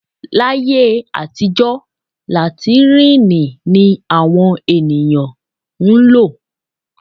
Láyé àtijọ́ làtíìnì ni àwọn ènìyàn ń lò